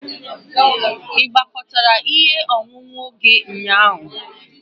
Ị gwakọtara ihe ọṅụṅụ gị ụnyaahụ?